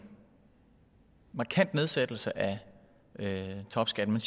markant nedsættelse af topskatten